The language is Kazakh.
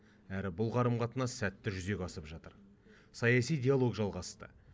әрі бұл қарым қатынас сәтті жүзеге асып жатыр саяси диалог жалғасты